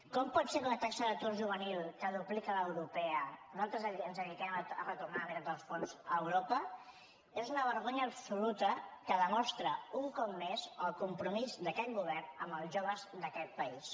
com pot ser que amb una taxa d’atur juvenil que duplica l’europea nosaltres ens dediquem a retornar la meitat dels fons a europa és una vergonya absoluta que demostra un cop més el compromís d’aquest govern amb els joves d’aquest país